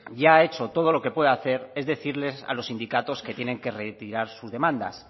ya ha hecho todo lo que puede hacer es decirles a los sindicatos que tienen que retirar sus demandas